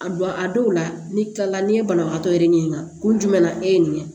A don a dɔw la ni kila la n'i ye banabagatɔ yɛrɛ ɲininka kun jumɛn na e ye nin ye